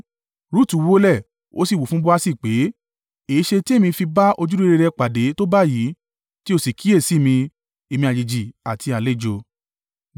Rutu wólẹ̀, ó sì wí fún Boasi pé, “Èéṣe tí èmi fi bá ojúrere rẹ pàdé tó báyìí, tí o sì kíyèsi mi, èmi àjèjì àti àlejò?”